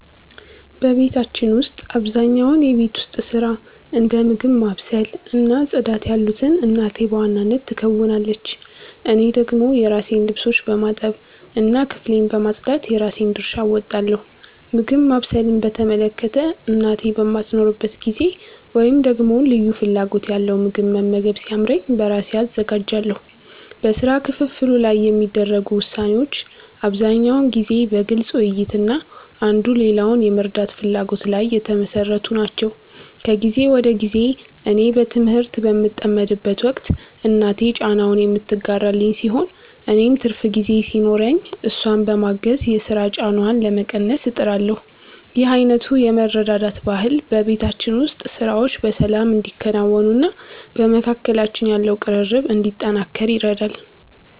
በቤታችን ውስጥ አብዛኛውን የቤት ውስጥ ሥራ፣ እንደ ምግብ ማብሰል እና ጽዳት ያሉትን እናቴ በዋናነት ትከውናለች። እኔ ደግሞ የራሴን ልብሶች በማጠብ እና ክፍሌን በማጽዳት የራሴን ድርሻ እወጣለሁ። ምግብ ማብሰልን በተመለከተ፣ እናቴ በማትኖርበት ጊዜ ወይም ደግሞ ልዩ ፍላጎት ያለው ምግብ መመገብ ሲያምረኝ በራሴ አዘጋጃለሁ። በሥራ ክፍፍሉ ላይ የሚደረጉ ውሳኔዎች አብዛኛውን ጊዜ በግልጽ ውይይት እና አንዱ ሌላውን የመርዳት ፍላጎት ላይ የተመሠረቱ ናቸው። ከጊዜ ወደ ጊዜ እኔ በትምህርት በምጠመድበት ወቅት እናቴ ጫናውን የምትጋራልኝ ሲሆን፣ እኔም ትርፍ ጊዜ ሲኖረኝ እሷን በማገዝ የሥራ ጫናዋን ለመቀነስ እጥራለሁ። ይህ አይነቱ የመረዳዳት ባህል በቤታችን ውስጥ ሥራዎች በሰላም እንዲከናወኑና በመካከላችን ያለው ቅርርብ እንዲጠናከር ይረዳል።